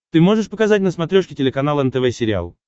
ты можешь показать на смотрешке телеканал нтв сериал